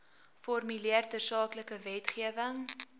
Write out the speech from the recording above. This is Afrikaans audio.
formuleer tersaaklike wetgewing